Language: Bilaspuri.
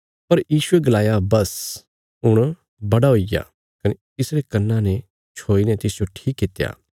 पर यीशुये गलाया बस हुण बड़ा हुईग्या कने यीशुये तिसरे कन्ना ने छोईने तिसजो ठीक कित्या